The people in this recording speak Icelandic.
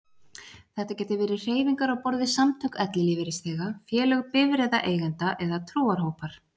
Þetta geta verið hreyfingar á borð við samtök ellilífeyrisþega, félög bifreiðaeigenda eða trúarhópar.